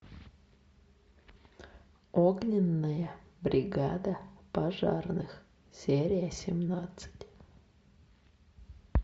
огненная бригада пожарных серия семнадцать